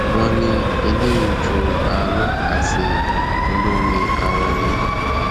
wọn ní ẹlẹyinjúàánú àti olóore àwọn ni